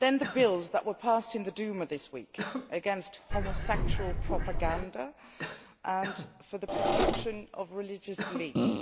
Bills were passed in the Duma this week against homosexual propaganda' and for the protection of religious beliefs.